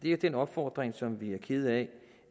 er en opfordring som vi er kede af